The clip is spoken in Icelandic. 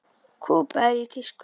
Kúba er í tísku.